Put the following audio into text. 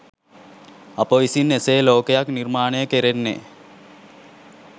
අප විසින් එසේ ලෝකයක් නිර්මාණය කෙරෙන්නේ